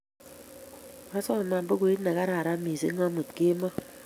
Kwasoman pukuit ne kararan missing' amut kemboi